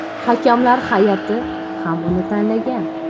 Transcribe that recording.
Hakamlar hay’ati ham uni tanlagan.